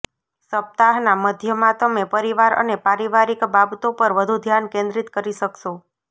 સપ્તાહના મધ્યમાં તમે પરિવાર અને પારિવારિક બાબતો પર વધુ ધ્યાન કેન્દ્રિત કરી શકશો